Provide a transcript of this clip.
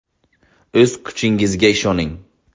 O‘z kuchingizga ishoning!